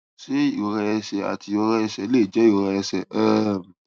ṣé ìrora ẹsè àti ìrora ẹsè lè jé ìrora ẹsè um